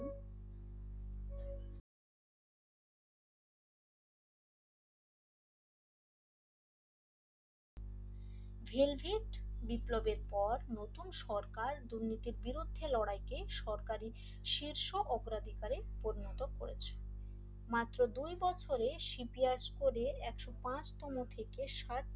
velvet বিপ্লবের পর প্রথম সরকার দুর্নীতির বিরুদ্ধে লড়াইকে সরকারি শীর্ষ অগ্রাধিকারে পরিণত করেছে মাত্র দুই বছরের সিপিআস পড়ে আশক পাঁচ তম থেকে সাত